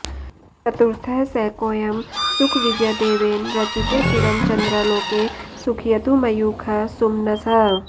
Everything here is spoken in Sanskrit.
चतुर्थः सैकोयं सुकविजयदेवेन रचिते चिरं चन्द्रालोके सुखयतु मयूखः सुमनसः